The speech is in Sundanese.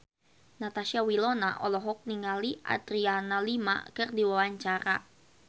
Natasha Wilona olohok ningali Adriana Lima keur diwawancara